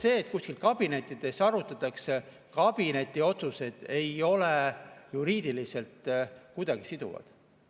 See, et kuskil kabinettides arutatakse – kabineti otsused ei ole juriidiliselt kuidagi siduvad.